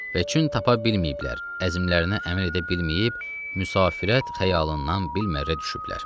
Və çün tapa bilməyiblər, əzmlərinə əməl edə bilməyib, müsafirət xəyalından bilmərrə düşüblər.